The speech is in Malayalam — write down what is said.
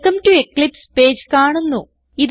വെൽക്കം ടോ എക്ലിപ്സ് പേജ് കാണുന്നു